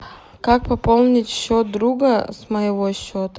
как пополнить счет друга с моего счета